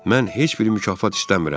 Mən heç bir mükafat istəmirəm.